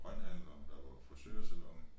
Grønthandler der var frisørsalon